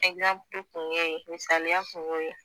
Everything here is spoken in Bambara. tun y'o ye misaliya tun y'o ye